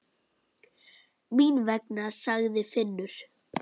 Mín vegna, sagði Finnur.